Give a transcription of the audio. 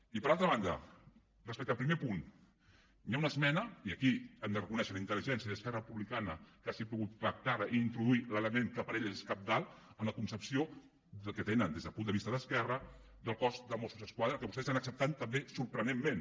i per altra banda respecte al primer punt hi ha una esmena i aquí hem de reconèixer la intel·ligència d’esquerra republicana que hagi pogut pactar la i introduir l’element que per a ella és cabdal en la concepció que tenen des del punt de vista d’esquerra del cos dels mossos d’esquadra que vostès han acceptat també sorprenentment